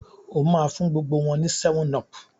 o má fún gbogbo wón ní 7up.